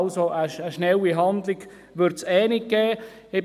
Also: Eine schnelle Handlung wird es eh nicht geben.